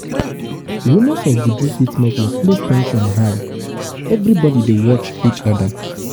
rumors of juju fit make workplace ten sion um high; everybody dey watch each oda.